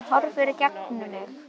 En hún horfir í gegnum mig